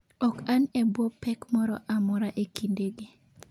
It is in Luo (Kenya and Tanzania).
Ok an e bwo pek moro amora e kindegi.